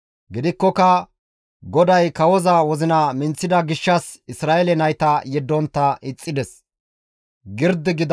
Gidikkoka GODAY kawoza wozina minththida gishshas Isra7eele nayta yeddontta ixxides.